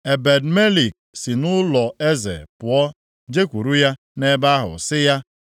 Ebed-Melek si nʼụlọeze pụọ jekwuuru ya nʼebe ahụ sị ya,